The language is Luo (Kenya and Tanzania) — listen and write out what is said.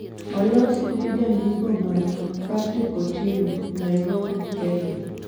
Olosi gi Jandiko marwa, Patrick Otieno, Nairobi, Kenya